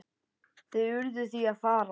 Þau urðu því að fara.